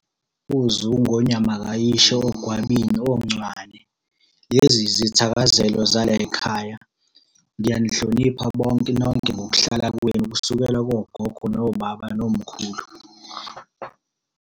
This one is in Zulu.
OZungu, oNyamakayishi, oGwabini, oNcwane. Lezi izithakazelo zalayikhaya. Ngiyanihlonipha bonke nonke ngokuhlala kwenu kusukela kogogo, nobaba, nomkhulu.